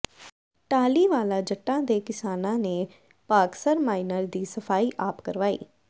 ਟਾਹਲੀਵਾਲਾ ਜੱਟਾਂ ਦੇ ਕਿਸਾਨਾਂ ਨੇ ਭਾਗਸਰ ਮਾਈਨਰ ਦੀ ਸਫ਼ਾਈ ਆਪ ਕਰਵਾਈ